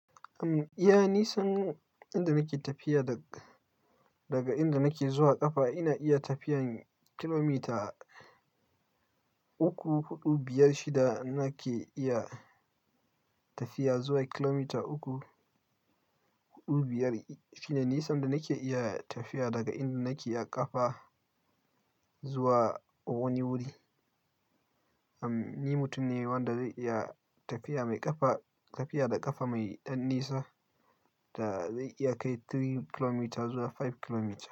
Am iya nisan inda nake tafiya da daga inda nake zuwa ƙafa ina iya tafiyan kilomita uku, huɗu, biyar, shida nake iya tafiya zuwa kilomita uku, huɗu, biyar shine nisan da nake iya tafiya daga inda nake a ƙafa zuwa wani wuri. Am ni mutum ne wanda zai iya tafiya mai ƙafa tafiya da ƙafa mai ɗan nisa da zai iya kai three kilometres zuwa five kilometres.